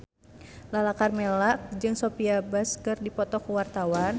Lala Karmela jeung Sophia Bush keur dipoto ku wartawan